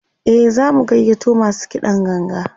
e zamu gayyato masu kiɗan ganga